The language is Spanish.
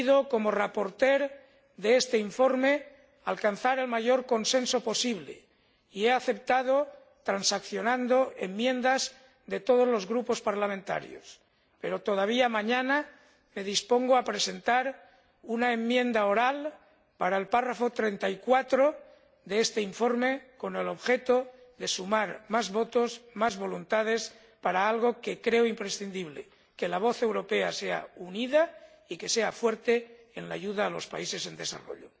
Como ponente de este informe he querido alcanzar el mayor consenso posible y he aceptado, en transacción, enmiendas de todos los grupos parlamentarios, pero todavía mañana me dispongo a presentar una enmienda oral al apartado 34 de este informe, con objeto de sumar más votos, más voluntades para algo que creo imprescindible que la voz europea sea unida y que sea fuerte en la ayuda a los países en desarrollo.